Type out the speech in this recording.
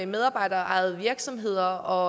medarbejderejede virksomheder